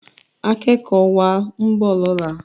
akékòó wa nbọ lọnà.